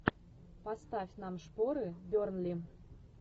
поставь нам шпоры бернли